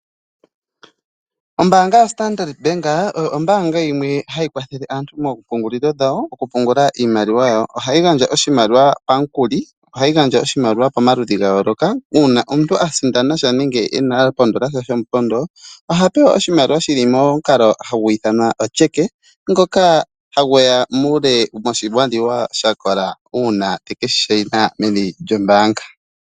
Ombaanga yoStandard Bank oyo ombaanga yimwe hayi kwathele aantu moompungululilo dhawo oku pungula iimaliwa yawo. Ohayi gandja oshimaliwa pamukuli, ohayi gandja oshimaliwa pamaludhi ga yooloka uuna omuntu a sindana nenge a pondola sha shomupondo, oha pewa oshimaliwa shi momukalo ngono hagu ithanwa otyeke ngoka hagu ya muule woshimaliwa sha kola uuna teke shi shayina meni lyombaanga.